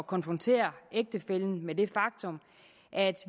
konfrontere ægtefællen med det faktum at